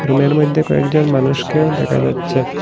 রুমের মইধ্যে কয়েকজন মানুষকেও দেখা যাচ্ছে।